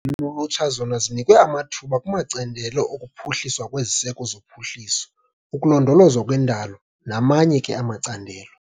lulutsha zona zinikwe amathuba kumacandelo okuphuculwa kweziseko zophuhliso, ukulondolozwa kwendalo namanye ke amacandelo.